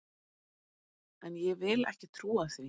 En ég vil ekki trúa því!